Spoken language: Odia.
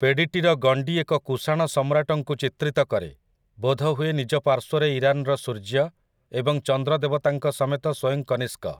ପେଡ଼ିଟିର ଗଣ୍ଡି ଏକ କୁଶାଣ ସମ୍ରାଟଙ୍କୁ ଚିତ୍ରିତ କରେ, ବୋଧହୁଏ ନିଜ ପାର୍ଶ୍ୱରେ ଇରାନର ସୂର୍ଯ୍ୟ ଏବଂ ଚନ୍ଦ୍ର ଦେବତାଙ୍କ ସମେତ ସ୍ୱୟଂ କନିଷ୍କ ।